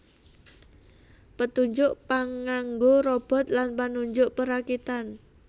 Petunjuk panganggo Robot lan panunjuk perakitan